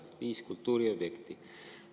Seal on viis kultuuriobjekti.